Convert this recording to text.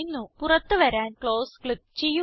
പുറത്ത് വരാൻ close click ചെയ്യുക